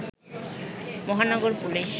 Mahanagar police